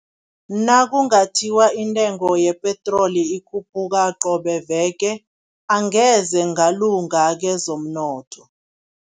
Nakungathiwa intengo yepetroli ikhuphuka qobe veke, angeze ngalunga kezomnotho.